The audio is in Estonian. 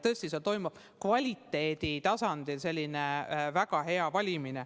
Tõesti, seal toimub kvaliteedi tasandil väga hea valimine.